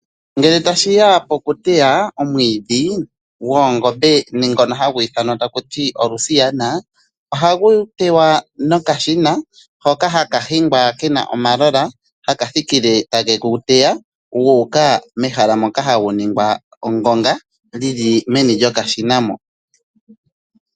Ngele tashi ya pokuteya omwiidhi goongombe ngono hagu ithanwa Olusiana, ohagu tewa nokashina. Ohaka hingwa kena omalola , haka thikile take gu teya guuka mehala moka hagu ningwa oongonga, lyili mokashina.